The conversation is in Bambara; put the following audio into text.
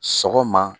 Sɔgɔma